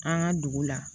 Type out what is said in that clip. An ka dugu la